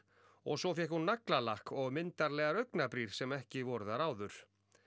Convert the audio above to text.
og svo fékk hún naglalakk og myndarlegar augnabrýr sem ekki voru þar áður